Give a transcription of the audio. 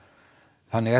þannig er